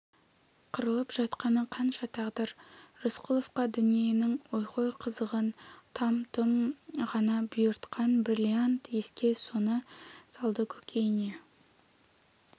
қырылып жатқаны қанша тағдыр рысқұловқа дүниенің ойхой қызығын там-тұм ғана бұйыртқан бриллиант еске соны салды көкейіне